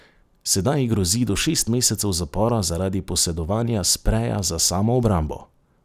Sedaj ji grozi do šest mesecev zapora zaradi posedovanja spreja za samoobrambo.